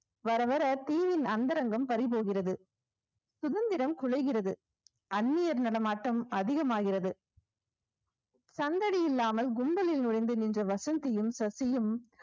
வர வர தீவின் அந்தரங்கம் பறிபோகிறது சுதந்திரம் குலைகிறது அந்நியர் நடமாட்டம் அதிகமாகிறது சந்ததி இல்லாமல் கும்பலில் நுழைந்து நின்ற வசந்தியும் சசியும்